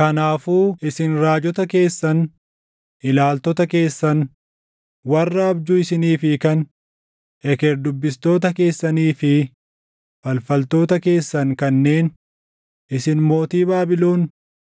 Kanaafuu isin raajota keessan, ilaaltota keessan, warra abjuu isiniif hiikan, eker dubbistoota keessanii fi falfaltoota keessan kanneen, ‘Isin mootii Baabilon